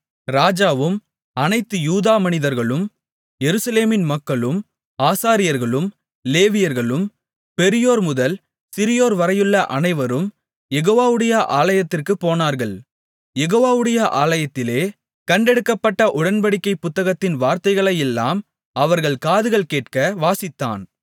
ராஜாவும் அனைத்து யூதா மனிதர்களும் எருசலேமின் மக்களும் ஆசாரியர்களும் லேவியர்களும் பெரியோர்முதல் சிறியோர் வரையுள்ள அனைவரும் யெகோவாவுடைய ஆலயத்திற்குப் போனார்கள் யெகோவாவுடைய ஆலயத்திலே கண்டெடுக்கப்பட்ட உடன்படிக்கைப் புத்தகத்தின் வார்த்தைகளையெல்லாம் அவர்கள் காதுகள் கேட்க வாசித்தான்